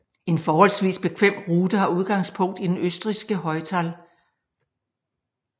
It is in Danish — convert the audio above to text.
En forholdsvis bekvem rute har udgangspunkt i den østrigske Heutal